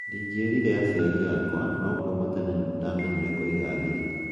Ndĩngerire aciari akwa ,no kuuma tene ,nĩndamenyire kũiga thiri